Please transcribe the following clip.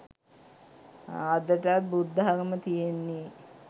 අදටත් බුද්ධාගම තියෙන්නෙ